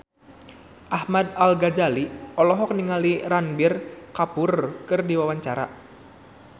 Ahmad Al-Ghazali olohok ningali Ranbir Kapoor keur diwawancara